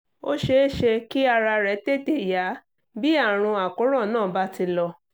ó ṣeé ṣe kí ara rẹ̀ tètè yá bí àrùn àkóràn náà bá ti lọ